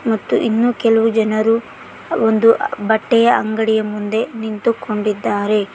ಮತ್ತು ಇನ್ನೂ ಕೆಲವು ಜನರು ಒಂದು ಬಟ್ಟೆ ಅಂಗಡಿಯ ಮುಂದೆ ನಿಂತುಕೊಂಡಿದ್ದಾರೆ.